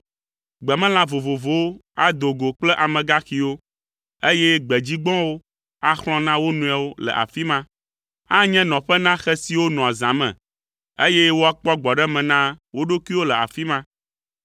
Gbemelã vovovowo ado go kple amegaxiwo, eye gbedzigbɔ̃wo axlɔ̃ na wo nɔewo le afi ma. Anye nɔƒe na xe siwo nɔa zã me eye woakpɔ gbɔɖeme na wo ɖokuiwo le afi ma.